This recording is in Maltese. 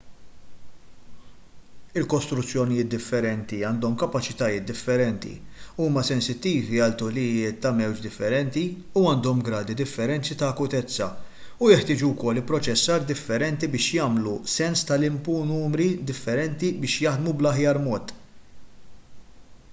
il-kostruzzjonijiet differenti għandhom kapaċitajiet differenti huma sensittivi għal tulijiet ta' mewġ differenti u għandhom gradi differenti ta' akutezza u jeħtieġu wkoll ipproċessar differenti biex jagħmlu sens tal-inpu u numri differenti biex jaħdmu bl-aħjar mod